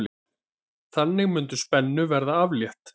Þannig mundi spennu verða aflétt.